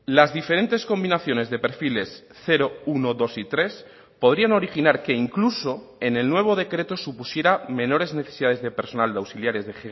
las diferentes combinaciones de perfiles cero uno dos y tres podrían originar que incluso en el nuevo decreto supusiera menores necesidades de personal de auxiliares de